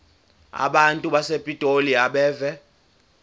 abantu basepitoli abeve